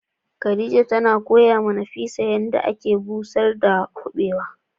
Khadija ta koya ma Nafisat yanda ake busar da kubewa.